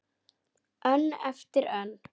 Önn eftir önn.